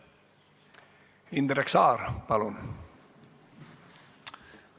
Indrek Saar, palun!